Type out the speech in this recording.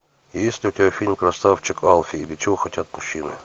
есть у тебя фильм красавчик алфи или чего хотят мужчины